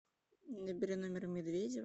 набери номер медведева